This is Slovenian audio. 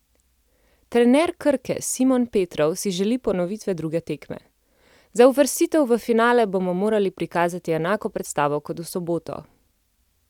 Trener Krke Simon Petrov si želi ponovitve druge tekme: "Za uvrstitev v finale bomo morali prikazati enako predstavo kot v soboto.